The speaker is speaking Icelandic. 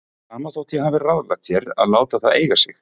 Sama þótt ég hafi ráðlagt þér að láta það eiga sig.